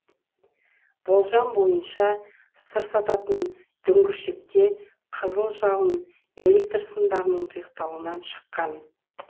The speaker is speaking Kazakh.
болжам бойынша сыр сататын дүңгіршекте қызыл жалын электр сымдарының тұйықталуынан шыққан